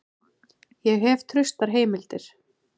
Ég hef traustar heimildir.